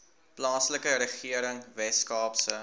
plaaslike regering weskaapse